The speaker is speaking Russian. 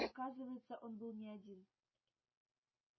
оказывается он был не один